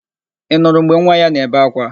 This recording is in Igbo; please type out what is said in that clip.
Ị nụrụ mgbe nwa ya na-ebe ákwá?